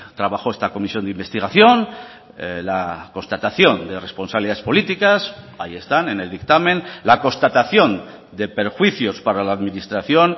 trabajó esta comisión de investigación la constatación de responsabilidades políticas ahí están en el dictamen la constatación de perjuicios para la administración